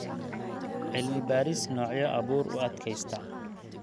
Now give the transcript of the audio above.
Cilmi-baaris noocyo abuur u adkaysta.